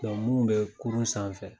munnu bɛ kurun sanfɛ.